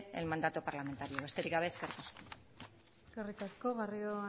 el mandato parlamentario besterik gabe eskerrik asko eskerrik asko garrido